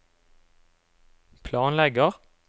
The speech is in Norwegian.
planlegger